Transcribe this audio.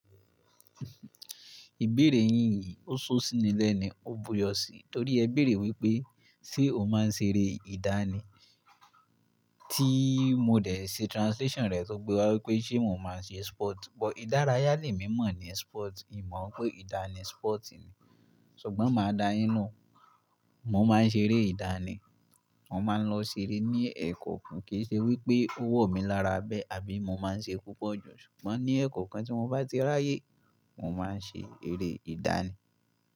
Ìbéèrè yín yìí ó ṣó síni lẹ́ni, ó bu'yọ síi. Torí ẹ béèrè wípé ṣé o máa ń ṣeré ìdánì? Tí mo dẹ̀ ṣe translation rẹ̀ tó gbé wa wípé ṣé mo máa ń ṣe sport? Ìdárayá lè mí mọ̀ ni sport, ì mọ̀ pé ìdánì sport ni. Ṣùgbọ́n máa dáa yín lohùn, mo máa ń ṣeré ìdánì. Mo máa ń lọ ṣeré ní ẹkọọkan kí í ṣe wípé ó wọ̀ mí lára bẹ́ àbí mo máa ń ṣe púpọ̀ jù. Ṣùgbọ́n ní ẹkókan tí mo bá ti ráyè, mo máa ń ṣe eré ìdánì.